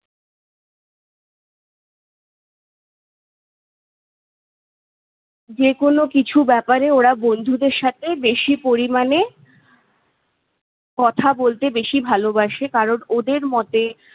যেকোনো কিছু ব্যপারে ওরা বন্ধুদের সাথে বেশি পরিমাণে কথা বলতে বেশি ভালোবাসে। কারণ ওদের মতে-